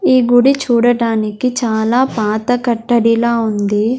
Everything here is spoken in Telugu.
ఈ గుడి చూడటానికి చాలా పాత కట్టడిలా ఉంది.